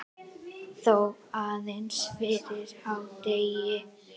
Þó aðeins fyrir hádegi.